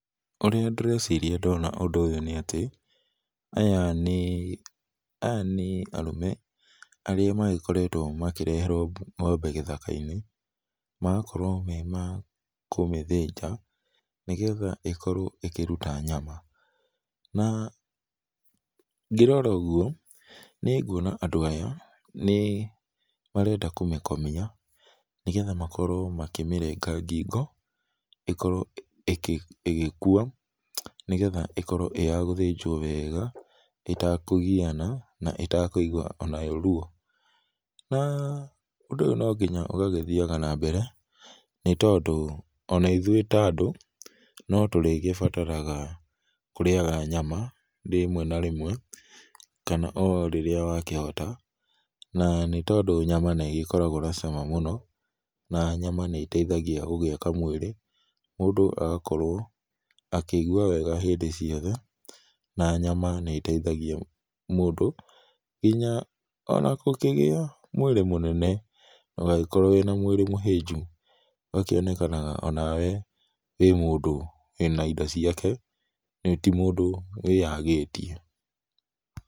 Ũría ndĩreciria ndona ũndũ ũyũ nĩ atĩ, aya nĩ, aya nĩ arũme arĩa magĩkoretwo makĩreherwo ngo'mbe gĩthakainĩ, magakorwo me ma kũmĩthĩnja, nĩgetha ĩkorwo ĩkĩruta nyama. Na ngĩrora ũguo nĩnguona andũ aya nĩmarenda kũmĩkomia, nĩgetha makorwo makĩmĩrenga ngingo ĩkorwo ĩgĩkua, nĩgetha ĩkorwo ĩ ya gũthĩnjwo wega ĩtakũgiana na ĩtakũigwa o nayo ruo, na ũndũ ũyũ nonginya ũgagĩthiaga na mbere, nĩtondũ ona ithũĩ ta andũ no tũrĩgĩbataraga kũrĩaga nyama rĩmwe na rĩmwe, kana o rĩrĩa wakĩhota na nĩ tondũ nyama nĩgĩkoragwo na cama mũno na nyama nĩ ĩteithagia gũgĩaka mwĩrĩ, mũndũ agakorwo akĩigua wega hĩndĩ ciothe na nyama nĩ ĩteithagia mũndũ nginya ona gũkĩgĩa mwĩrĩ mũnene ndũgagĩkorwo wĩ na mwĩrĩ mũhĩnju, ũgakĩonekanaga o nawe wĩ mũndũ wĩ na indo ciake, ti mũndũ wĩyagĩtie.